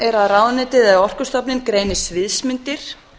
annars að ráðuneytið eða orkustofnun greini sviðsmyndir